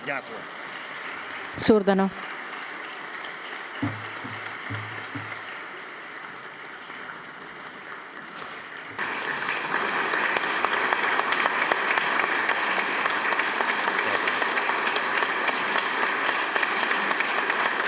Tänan teid, lugupeetud president Zelenskõi!